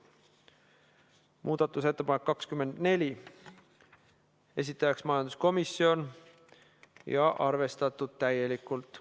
Muudatusettepanek nr 24, esitajaks majanduskomisjon ja arvestatud täielikult.